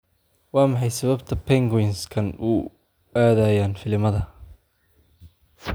Waa maxay sababta penguins-kan u aadayaan filimada?